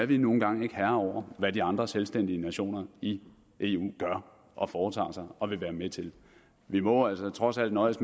vi er nu engang ikke herrer over hvad de andre selvstændige nationer i eu gør og foretager sig og vil være med til vi må altså trods alt nøjes